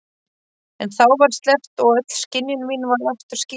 En þá var sleppt og öll skynjun mín varð aftur skýr.